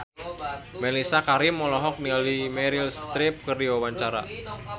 Mellisa Karim olohok ningali Meryl Streep keur diwawancara